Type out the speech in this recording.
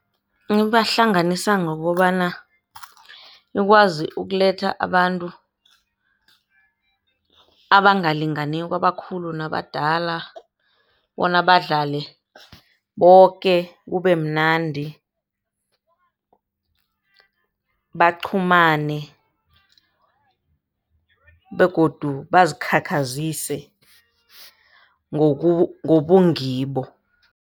Ibahlanganisa ngokobana ikwazi ukuletha abantu abangalinganiko, abakhulu nabadala bona badlale boke kubemnandi, baqhumane begodu bazikhakhazise ngobungibo.